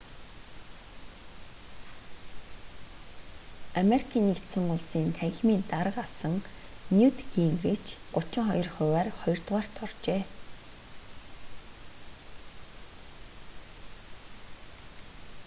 ану-ын танхимын дарга асан ньют гингрич 32 хувиар хоёрдугаарт оржээ